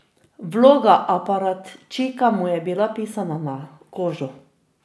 Vloga aparatčika mu je bila pisana na kožo.